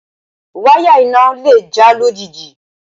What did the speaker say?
Wáyà iná le gé lójijì